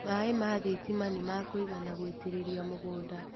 Maĩ ma gathima nĩmakũigana gũitĩrĩria mũgũnda.